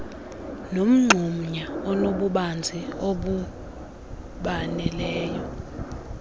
nomgxunya onobubanzi obaneleyo